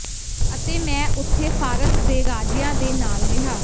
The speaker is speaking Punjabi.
ਅਤੇ ਮੈਂ ਉਥੇ ਫਾਰਸ ਦੇ ਰਾਜਿਆਂ ਦੇ ਨਾਲ ਰਿਹਾ